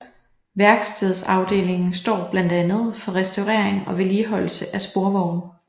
Værkstedsafdelingen står blandt andet for restaurering og vedligeholdelse af sporvogne